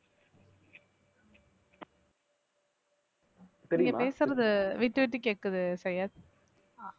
நீங்க பேசுறது விட்டுவிட்டு கேக்குது சையத் அஹ்